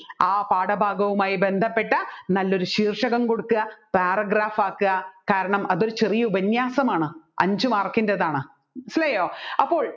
ആ പാഠഭാഗവുമായി ബന്ധപ്പെട്ട നല്ലൊരു ശീർഷകം കൊടുക്കുക paragraph ആകുക കാരണം അതൊരു ചെറിയ ഉപന്യാസമാണ് അഞ്ചു mark ന്റെതാണ് മനസ്സിലായോ അപ്പോൾ